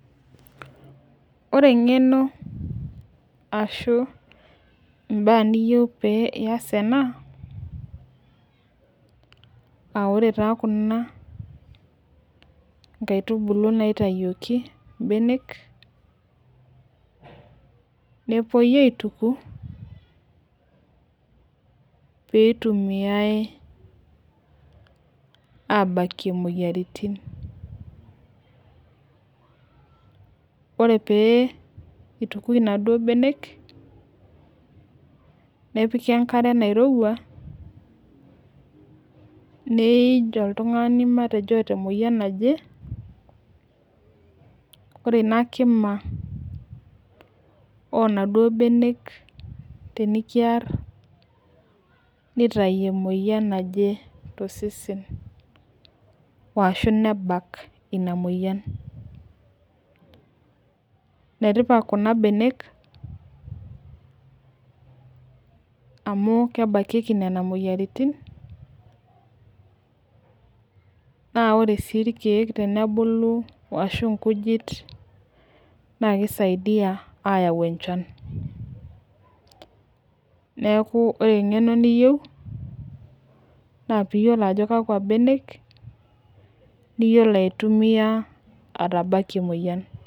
ore eng'eno ashu ibaa niyieu pee iyas ena aa ore taa kuna inkaitubulu naitayioki ibenek nepuoi aituku pee ebakieki iltung'anak imoyiaritin pee itukui inaduoo benek nepiki enkare nairowua neej oltung'ani matejo oota emoyian naje, ore ina kima oonaduo benek tenikiar nitayu emoyian naje tosesen ashu nebak enaduoo moyian, enetipat kuna benek amu kebakieki nena moyiaritin naa ore sii kesaidiya ashu aa inkujit ayau enchan neeku ore eng'eno niyieu naa pee iyiolo ajo kakua benek niyiolo aitumiya ajo kakwa moyian ebak.